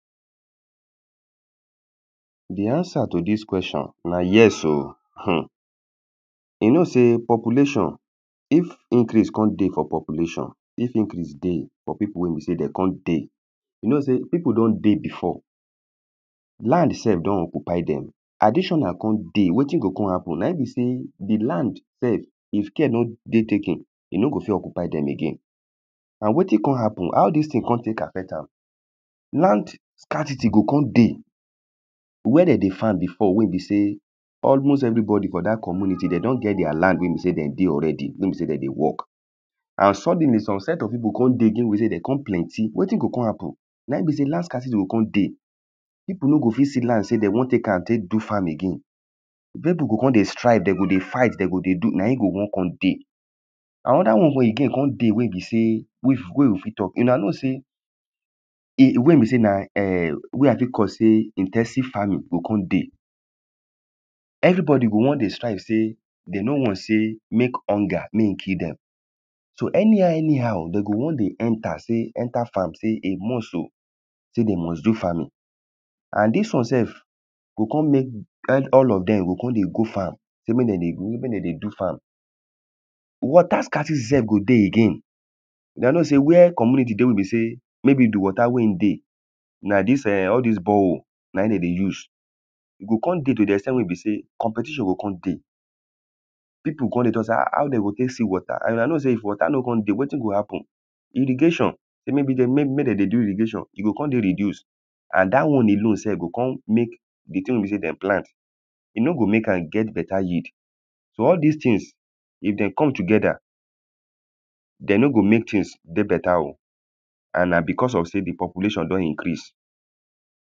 de answer to dis question na yes o um you know sey population if increase kon dey for population if increase dey for pipu we be sey de kon dey you know sey pipu don dey before land self don occupy dem additional kon dey wetin go kon hapun na im be sey di lanf self if care no dey taken you no go fit occupy dem again na wetin kon hapun how dis tin kon tek affect am land scarcity kon dey where de dey farm before we be se almost everybodi for dat community de don get their land we be den dey already we e be sey de dey work and suddenly some set of pipu kon dey again we be sey de kon plenty wetin go kon hapun na in be sey land scarcity go kon dey pipu no go fit see land sey de won tek am tek do farm again where pu go kon dey strive de go dey fight de go dey do na in go won kon dey anoda won again kon dey we be sey we we fit talk una know sey wen be sey na[um] we i fit call sey in ten sive farming go kon dey everybodi go won dey strive sey de no want sey mek hunger mey e kill dem so anyhow anyhow de go won dey enter farm sey a must o sey de must do farming and dis won self go kon mek grant all of dem go kon dey go farm sey mek den dey do farm water scarcity self go dey again una know seywhere community dey we be sey maybe if di water we e dey na dis eh all dis borehole na e de dey use go kon dey to si ex ten t we be sey competition go kon dey pipu go kon dey talk sy [ha]how they go kon see water and una know sey if water no kon dey wetin go hapun irrigation sey mek den dey do irrigation e go kon dey reduced and dat won alone self go kon mek di tin we bi sey den plant e no go mek am get beta yeid so all dis tins if den come together de no go mek tins dey beta oh and na because of sey di population don increase